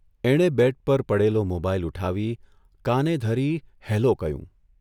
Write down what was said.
એણે બેડ પર પડેલો મોબાઇલ ઊઠાવી કાને ધરી ' હેલો ' કહ્યું.